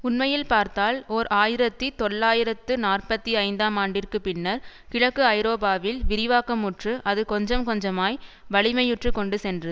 உண்மையில் பார்த்தால் ஓர் ஆயிரத்தி தொள்ளாயிரத்து நாற்பத்தி ஐந்தாம் ஆண்டிற்கு பின்னர் கிழக்கு ஐரோப்பாவில் விரிவாக்கமுற்று அது கொஞ்சம் கொஞ்சமாய் வலிமையுற்றுக் கொண்டு சென்று